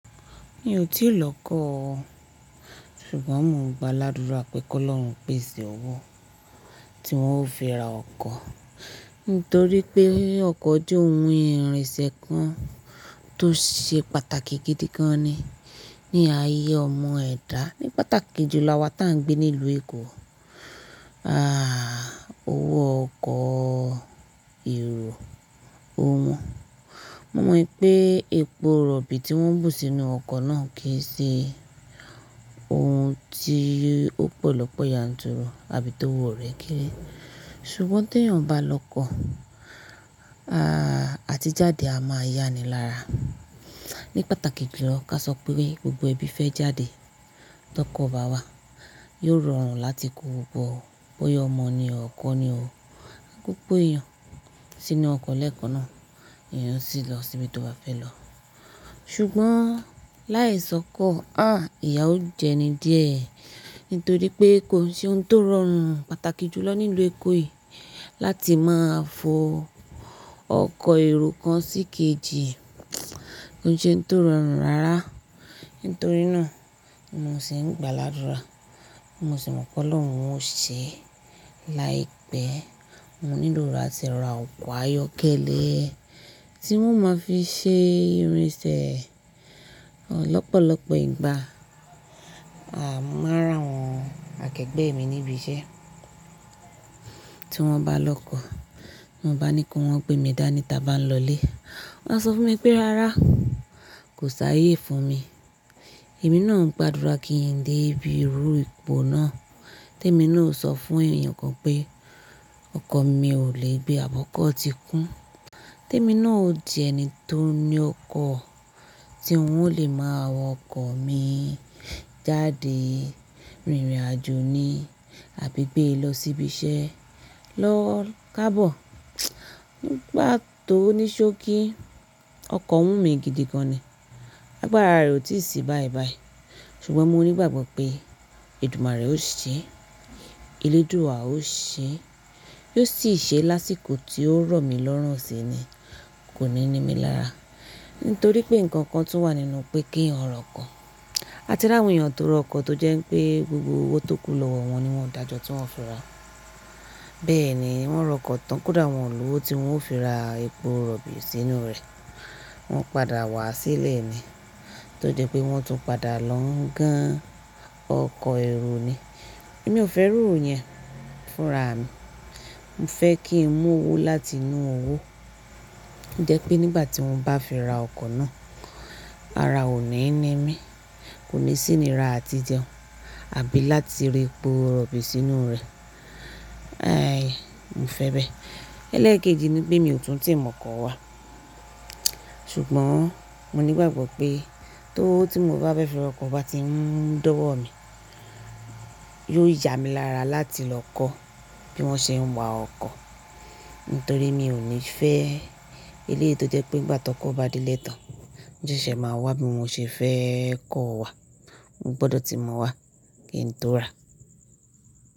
Mi ò tí lọkọ́ ọ, ṣùgbọ́n mo ń gba ládùrá pé kí Ọlọ́run pèsè owó tí wọ́n ó fi ra ọkọ̀. Nítorí pé ọkọ̀ jẹ́ ohun ìrìnsẹ̀ kan tó ṣe pàtàkì gidi gan ni ní ayé ọmọ ẹ̀dá, ní pàtàkì jùlọ awá tà ń gbé nílùú Èkó. Ah! Owó ọkọ̀ èrò, ò wọ́n. Mo mọ pé epo rọ̀bì tí wọ́n ń bù sínú ọkọ̀ náà kìí ṣe ohun tí ó pọ̀ lọ́pọ̀ yanturu àbí tówò rẹ̀ kéré. Ṣùgbọ́n tí èèyàn bá lọkọ́, ah! Àti jáde a máa yáni lára. Ní pàtàkì jùlọ ká sọ pé gbogbo ẹbí fẹ́ jáde tọkọ̀ bá wa, yóò rọrùn láti kó gbogbo bóyá ọmọ ní o, ọkọ ní o. Gbogbo èèyàn sínú ọkọ̀ lẹ́ẹ̀kan náà, èèyàn sì lọ síbi tó bá fẹ́ lọ. Ṣùgbọ́n láì sọkọ́, ah! Ìyá ò jẹni díẹ̀. Nítorí pé kò sí ohun tó rọrùn pàtàkì jùlọ nílùú Èkó yìí láti máa fọ ọkọ̀ èrò kàn sí kejì. Kò sí ohun tó rọrùn rárá. Nítorínà mo sì ń gba ládùrá, mọ sì mọ pé Ọlọ́run ò ṣe láìpẹ́. Mọ nílò láti rà ọkọ̀ ayọ́kẹ́lẹ́ tí n wó máa fi ṣe ìrìnsẹ̀ lọ́pọ̀lọpọ̀ ìgbà. À mọ maa rí awọn akẹgbẹ́ mi níbi iṣẹ́ tí wọ́n bá lọkọ́, mo bá ní ko wọ́n pé mi dání tí a bá ń lọlé. Wọn sọ fún mi pé rárá, kò sáyé fún mi. Èmi náà ń gbàdúrà kí n dé ibi irú ipò náà tí èmi náà ó sọ fún èèyàn kan pé ọkọ̀ mi ò lè gbé àbọ́kọ́ ti kún. Tí èmi náà ó dì ẹni tó ní ọkọ̀ tí ó lè máa wọ ọkọ̀ mi jáde, rìnrìn àjò ni, àbí gbé lọ sí ibi iṣẹ́ lọ káàbọ̀. Ni ìgbà tó ní ṣókí ọkọ̀ wùmí gidi gan ni. Agbára rẹ̀ ò tíì sí báyìí báyìí. Ṣùgbọ́n mo ní ìgbàgbọ́ pé, èdùmàrè ó ṣe, eléèdúwa ó ṣe. Yóò sì ṣe lásìkò tí ó rọ̀ mí lọ́rùn sí ni. Kò ní nímí lára. Nítorí pé nǹkan kan tún wà nínú pé kí ẹ̀yàn rọ ọkọ̀, a ti rí àwọn èèyàn tó rà ọkọ̀ tó jẹ́ pé gbogbo owó tó kù lọ́wọ́ wọn ni wọ́n dàjọ́ tí wọ́n fi ra. Bẹ́ẹ̀ ni wọ́n rà ọkọ̀ tán, kódà wọ́n ò lówó tí wọ́n ó fi ra èpò rọ̀bì sínú rẹ̀. Wọ́n padà wá sílẹ̀ ni. Tó jẹ́ pé wọ́n tún padà lọ ń gan ọkọ̀ èrò ní. Èmi ò fẹ́ ìrú yẹn fún ra mi. Mọ fẹ́ kí n mú owó láti inú owó. Jẹ́ pé nígbà tí wọ́n bá fi ra ọkọ̀ náà, ara ò ní nímí, kò ní sì iníra àti jẹun àbí láti rẹ epo rọ̀bì sínú rẹ̀. Ai! Mo fẹ́ bẹ́ẹ̀. Ẹlẹẹkeji ni pé mi ò túnti mọkọ̀ wá. Ṣùgbọ́n, mo ní ìgbàgbọ́ pé tówo tí mo bá bẹ́ fí rọkọ̀ bá ti ń dọ̀wọ́ mi, yóò yá mi lára láti lọ kọ́ bí wọ́n ṣe ń wa ọkọ̀. Nítorí mi ò ní fẹ́ eléyìí tó jẹ́ pé nígbà tọkọ̀ bá dẹ́ lẹtàn, ó ṣẹ́ ṣẹ máa wá bí mo ṣe fẹ́ kó o wá. Mo gbọdọ̀ ti mọ̀ wá, kí n tó rà.